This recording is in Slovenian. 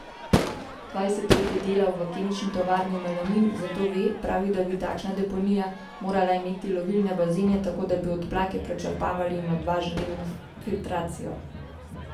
Dvajset let je delal v kemični tovarni Melamin, zato ve, pravi, da bi takšna deponija morala imeti lovilne bazene, tako da bi odplake prečrpavali in odvažali na filtracijo.